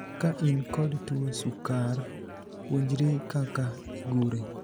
Ka in kod tuo sukar, puonjri kaka igure.